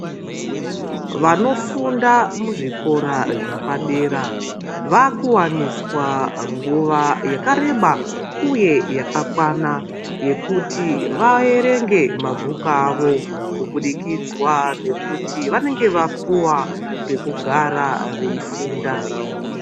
Vanofunda muzvikora zvapadera vakuwaniswa nguwa yakareba uye yakakwana yekuti vaerenge mabhuku avo kubudikidzwa ngekuti vanenge vapuwa pekugara veifunda.